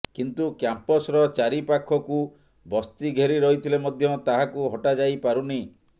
କିନ୍ତୁ କ୍ୟାମ୍ପସର ଚାରି ପାଖକୁ ବସ୍ତି ଘେରି ରହିଥିଲେ ମଧ୍ୟ ତାହାକୁ ହଟା ଯାଇପାରୁନି